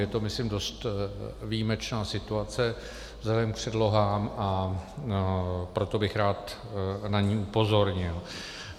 Je to myslím dost výjimečná situace vzhledem k předlohám, a proto bych rád na ni upozornil.